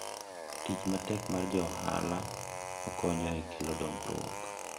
tich matek mar jo ohala okonyo e kelo dongruok